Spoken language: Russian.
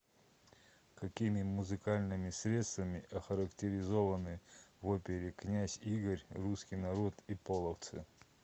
какими музыкальными средствами охарактеризованы в опере князь игорь русский народ и половцы